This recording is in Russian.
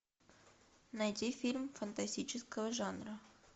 найди фильм фантастического жанра